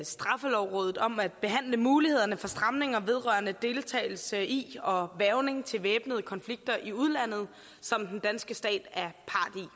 straffelovrådet om at behandle mulighederne for stramninger vedrørende deltagelse i og hvervning til væbnede konflikter i udlandet som den danske stat i